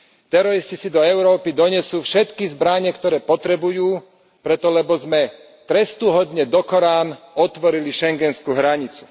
Teroristi si do Európy donesú všetky zbrane, ktoré potrebujú preto, lebo sme trestuhodne dokorán otvorili schengenskú hranicu.